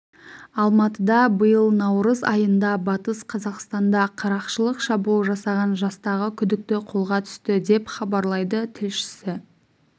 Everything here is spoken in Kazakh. алматыда биыл наурыз айында батыс қазақстанда қарақшылық шабуыл жасаған жастағы күдікті қолға түсті деп хабарлайды тілшісі